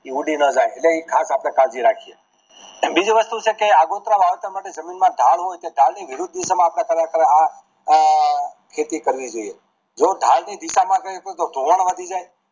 ઈ ઉંડી ના જાય એની ખાસ આપણે કાળજી રાખવી બીજી વસ્તુ છે કે આગોતરા વરસ માં જમીન માં ઢાળ હોય તો ઢાળ ની વિરુદ્ધ દિશા માં આ અઅઅ ખેતી કરવી જોઈએ જો ઢાલ ની દિશા માં કરાવી તો ધોવાણ વધી જાય